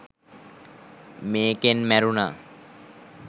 මේකෙන් මැරුණා